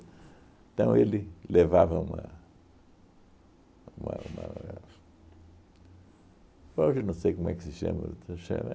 Então, ele levava uma uma uma... Hoje não sei como é que se chama